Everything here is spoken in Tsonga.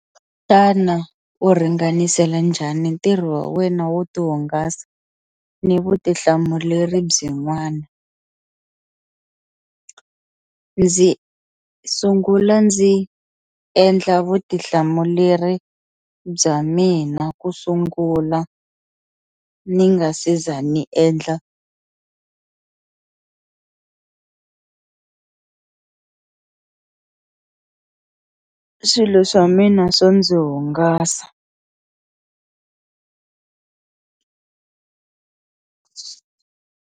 Xana u ringanisela njhani ntirho wa wena wo ti hungasa ni vutihlamuleri byin'wana, ndzi sungula ndzi endla vutihlamuleri bya mina ku sungula ni nga se za ni endla swilo swa mina swo ndzi hungasa.